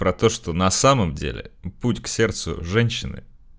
про то что на самом деле путь к сердцу женщины